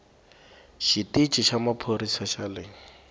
xitici xa maphorisa xa le